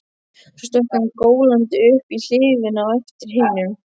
Svo stökk hann gólandi upp í hlíðina á eftir hinum.